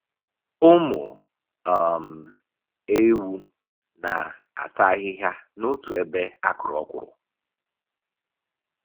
Ụmụ um ewu na-ata ahịhịa n'otu ebe a kụrụ okwuru.